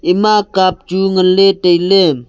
ema cup chu ngan ley tai ley.